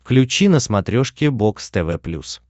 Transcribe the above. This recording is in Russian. включи на смотрешке бокс тв плюс